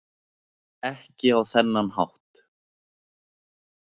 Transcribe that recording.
Ekki á þennan hátt.